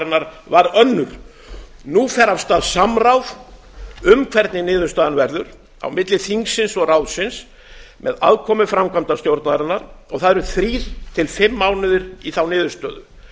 framkvæmdastjórnarinnar var önnur nú fer af stað samráð um hvernig niðurstaðan verður á milli þingsins og ráðsins með aðkomu framkvæmdastjórnarinnar og það eru þrír til fimm mánuðir í þá niðurstöðu